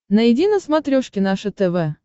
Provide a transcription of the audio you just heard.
найди на смотрешке наше тв